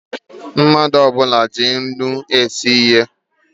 Mmadụ ọbula ji ńnú esi nri